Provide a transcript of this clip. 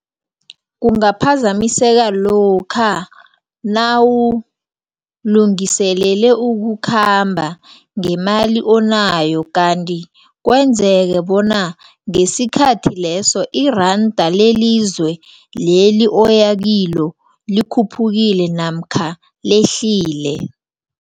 Kungaphazamiseka lokha nawulungiselele ukukhamba ngemali onayo kanti kwenzeke bona ngesikhathi leso iranda lelizwe leli oyakilo likhuphukile namkha lehlile.